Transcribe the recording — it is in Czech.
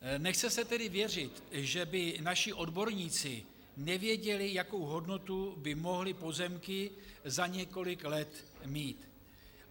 Nechce se tedy věřit, že by naši odborníci nevěděli, jakou hodnotu by mohly pozemky za několik let mít.